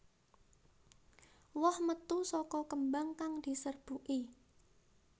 Woh metu saka kembang kang diserbuki